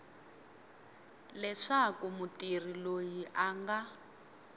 leswaku mutirhi loyi a nga